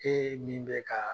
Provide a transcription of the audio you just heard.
E min bɛ ka